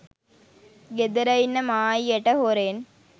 ගෙදර ඉන්න මායියට හොරෙන්